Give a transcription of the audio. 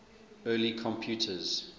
early computers